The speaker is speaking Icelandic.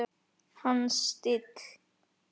Hans stíll.